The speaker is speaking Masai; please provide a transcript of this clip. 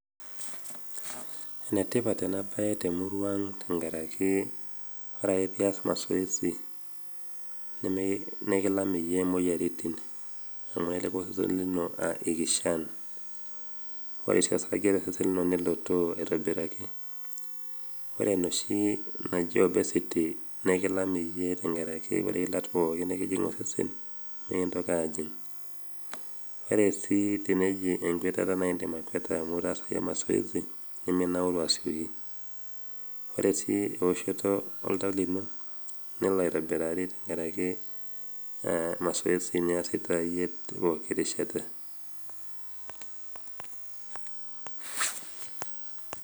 Ene tipat ena bae temurua ang' tenkaraki ore ake pias mazoezi nikilam yiee moyiaritin nemoku osesen lino ikishan wore sii osarge tosesen lino nelotoo aitobiraki ore enoshi naji obesity nikilam yie tenkaraki wore ilat nikijing' osesen nimikintoki ajing'.ore sii eneji enkuetata naindim akuata iasita mazoezi niminaura sii ore sii ewoshoto oltau lino nelo aitobiraki nkaraki mazoezi niasita yie pooki rishata